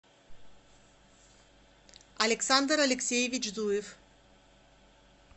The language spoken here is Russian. александр алексеевич зуев